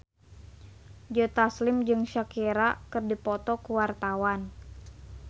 Joe Taslim jeung Shakira keur dipoto ku wartawan